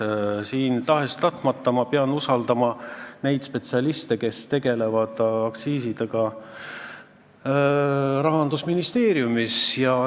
Ma pean siin tahes-tahtmata usaldama neid spetsialiste, kes Rahandusministeeriumis tegelevad aktsiisidega.